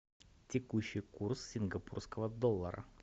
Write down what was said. текущий курс сингапурского доллара